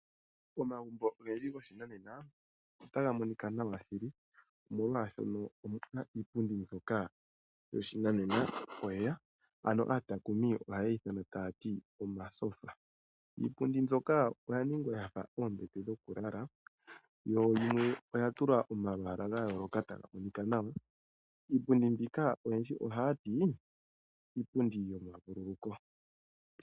Momagumbo ogendji goshinanena otaga monika nawa shili molwashoka omu na iipundi mbyoka yo pashinanena lela, ano aatakumi ohaye yi thana taya ti omasofa. Iipundi mbyoka oya ningwa yafa oombete dhokulala yo yimwe oya tulwa omalwala ga yolokathana taga monika nawa. Iipundi mbika oyendji oha yati iipundi yomavululuko.